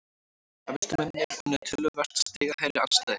Efstu mennirnir unnu töluvert stigahærri andstæðinga